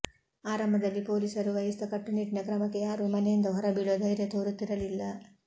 ಆರಂಭದಲ್ಲಿ ಪೊಲೀಸರು ವಹಿಸಿದ ಕಟ್ಟುನಿಟ್ಟಿನ ಕ್ರಮಕ್ಕೆ ಯಾರೂ ಮನೆಯಿಂದ ಹೊರಬೀಳುವ ಧೈರ್ಯ ತೋರುತ್ತಿರಲಿಲ್ಲ